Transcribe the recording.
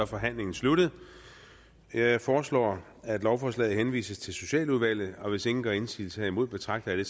forhandlingen sluttet jeg foreslår at lovforslaget henvises til socialudvalget hvis ingen gør indsigelse herimod betragter